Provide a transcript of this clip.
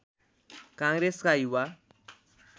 काङ्ग्रेसका युवा